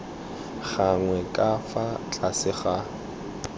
gagwe ka fa tlase ga